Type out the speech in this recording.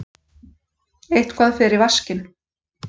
Eitthvað fer í vaskinn